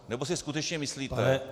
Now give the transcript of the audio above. Nebo si skutečně myslíte -